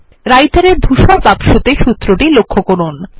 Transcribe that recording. Writer এ ধূসর বাক্সতে সূত্র টি লক্ষ্য করুন